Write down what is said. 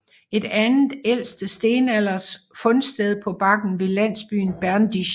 Et andet ældste stenalders fundsted på bakken ved landsbyen Berdizh